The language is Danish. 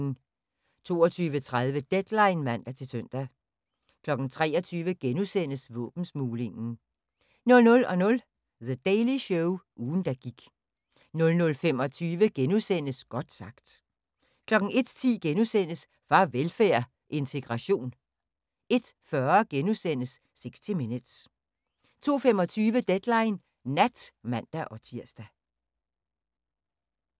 22:30: Deadline (man-søn) 23:00: Våbensmuglingen * 00:00: The Daily Show – ugen der gik 00:25: Godt sagt * 01:10: Farvelfærd: Integration * 01:40: 60 Minutes * 02:25: Deadline Nat (man-tir)